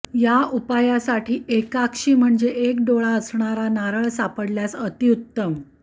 या उपायासाठी एकाक्षी म्हणजे एक डोळा असणारा नारळ सापडल्यास अतिउत्तम